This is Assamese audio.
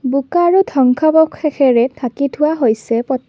বোকা আৰু ধ্বংসাৱশেষেৰে ঢাকি থোৱা হৈছে পট--